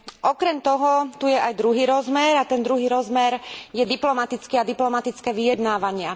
Okrem toho tu je aj druhý rozmer a tento rozmer je diplomatický a diplomatické vyjednávania.